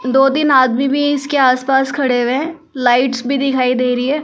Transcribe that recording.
दो-तीन आदमी भी इसके आसपास खड़े हुए हैं लाइट्स भी दिखाई दे रही है ।